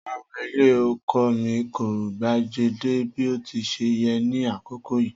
Rara, ilẹ oko mi ko gbejade bi o ti ṣe yẹ ni akoko yii